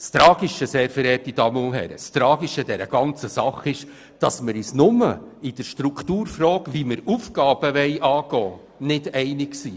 Das Tragische an dieser ganzen Sache ist, sehr geehrte Damen und Herren, dass wir uns nur in der Strukturfrage, wie wir Aufgaben angehen wollen, nicht einig sind.